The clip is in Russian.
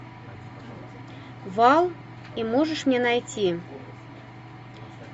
вал и можешь мне найти